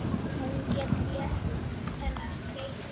Hún getur lesið þennan spegil.